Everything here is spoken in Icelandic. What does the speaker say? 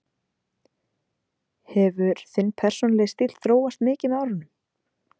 Hefur þinn persónulegi stíll þróast mikið með árunum?